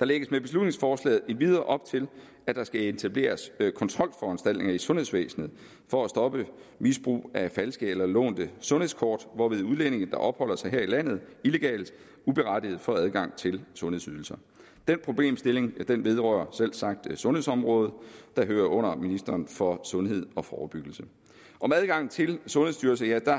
der lægges med beslutningsforslaget endvidere op til at der skal etableres kontrolforanstaltninger i sundhedsvæsenet for at stoppe misbrug af falske eller lånte sundhedskort hvorved udlændinge der opholder sig her i landet illegalt uberettiget får adgang til sundhedsydelser den problemstilling vedrører selvsagt sundhedsområdet der hører under ministeren for sundhed og forebyggelse om adgangen til sundhedsydelser